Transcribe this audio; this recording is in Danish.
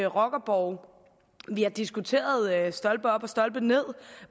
rockerborge vi har diskuteret stolpe op og stolpe ned